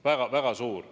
Väga suur!